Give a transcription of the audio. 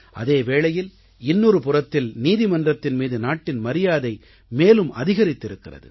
அதே வேளையில் இன்னொரு புறத்தில் நீதிமன்றத்தின் மீது நாட்டின் மரியாதை மேலும் அதிகரித்திருக்கிறது